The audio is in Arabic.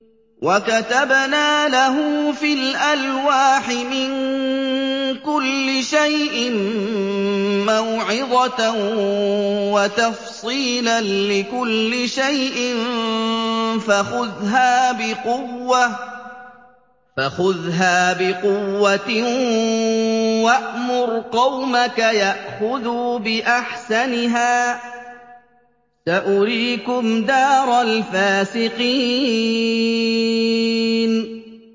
وَكَتَبْنَا لَهُ فِي الْأَلْوَاحِ مِن كُلِّ شَيْءٍ مَّوْعِظَةً وَتَفْصِيلًا لِّكُلِّ شَيْءٍ فَخُذْهَا بِقُوَّةٍ وَأْمُرْ قَوْمَكَ يَأْخُذُوا بِأَحْسَنِهَا ۚ سَأُرِيكُمْ دَارَ الْفَاسِقِينَ